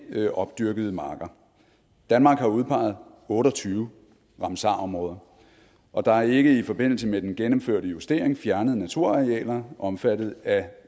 ikkeopdyrkede marker danmark har udpeget otte og tyve ramsarområder og der er ikke i forbindelse med den gennemførte justering fjernet naturarealer omfattet af